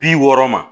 Bi wɔɔrɔ ma